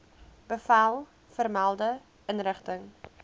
bevel vermelde inrigting